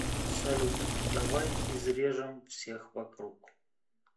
салют давай изрежем всех вокруг